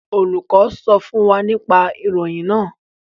Olùkọ sọ fún wa nipa ìròyìn náà.